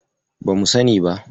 Bamu sani ba.